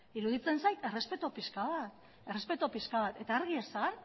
iruditzen zait errespetu pixka bat eta argi esan